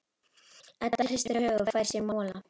Edda hristir höfuðið og fær sér mola.